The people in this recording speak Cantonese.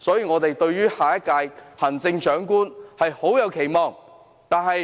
我們對下一屆行政長官有很多期望。